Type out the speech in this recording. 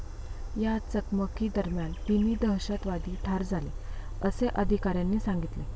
या चकमकीदरम्यान तिन्ही दहशतवादी ठार झाले, असे अधिकाऱ्यांनी सांगितले.